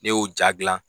Ne y'o ja gilan